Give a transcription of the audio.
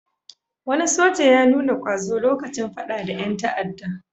Wani soja ya nuna ƙwazo lokacin faɗa da ƴan ta'adda.